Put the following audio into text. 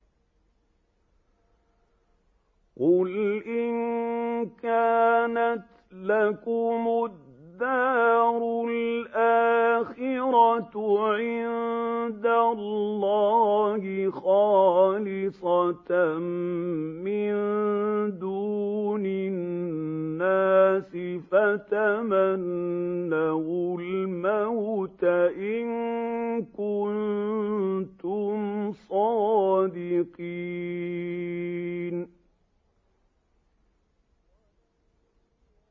قُلْ إِن كَانَتْ لَكُمُ الدَّارُ الْآخِرَةُ عِندَ اللَّهِ خَالِصَةً مِّن دُونِ النَّاسِ فَتَمَنَّوُا الْمَوْتَ إِن كُنتُمْ صَادِقِينَ